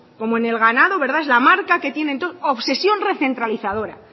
como en el ganado es la marca que tienen todos obsesión recentralizadora